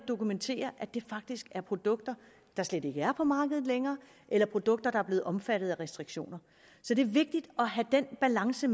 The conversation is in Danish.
dokumentere at det faktisk er produkter der slet ikke er på markedet længere eller produkter der er blevet omfattet af restriktioner så det er vigtigt at have den balance